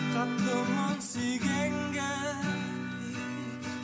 қаттымын сүйгенге